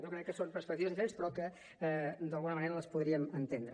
jo crec que són perspectives diferents però que d’alguna manera les podríem entendre